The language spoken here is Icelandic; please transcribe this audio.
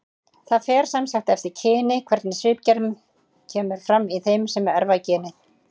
Það fer sem sagt eftir kyni hvernig svipgerð kemur fram í þeim sem erfa genið.